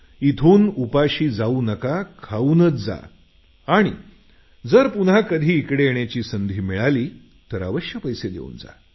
इथून उपाशी जाऊ नका खाऊनच जा आणि जर पुन्हा कधी इकडे येण्याची संधी मिळाली तर अवश्य पैसे देऊन जा